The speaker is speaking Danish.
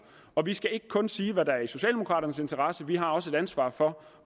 og vi skal ikke kun sige hvad der er i socialdemokraternes interesse vi har også et ansvar for